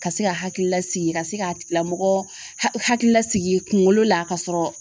Ka se ka hakililasigi ka se ka tigilamɔgɔ hakili lasigi kunkolo la ka sɔrɔ